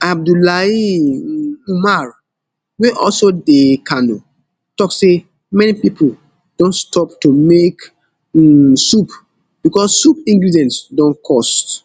abdullahi um umar wey also dey kano tok say many pipo don stop to make um soup becos soup ingredients don cost